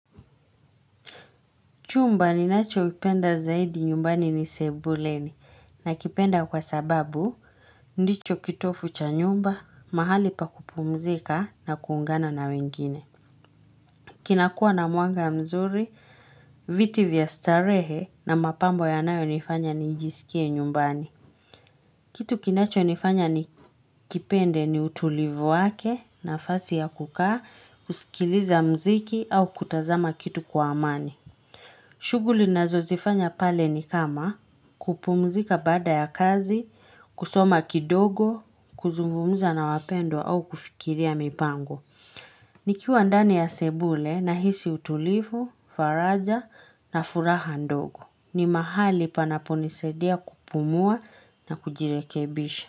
Chumba ninachopenda zaidi nyumbani ni sebuleni. Nakipenda kwa sababu ndicho kitovu cha nyumba, mahali pa kupumzika na kuungana na wengine. Kinakuwa na mwanga mzuri, viti vya starehe na mapambo yanayonifanya nijisikie nyumbani. Kitu kinachonifanya nikipende ni utulivu wake, nafasi ya kukaa, kusikiliza muziki au kufanya kitu kwa amani. Shughuli ninazozifanya pale ni kama kupumzika baada ya kazi, kusoma kidogo, kuzungumza na wapendwa au kufikiria mipango. Nikiwa ndani ya sebule nahisi utulivu, faraja na furaha ndogo. Ni mahali panaponisadia kupumua na kujirekebisha.